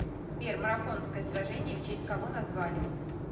сбер марафонское сражение в честь кого назвали